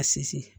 A sinsin